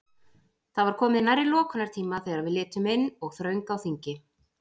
Það var komið nærri lokunartíma þegar við litum inn og þröng á þingi.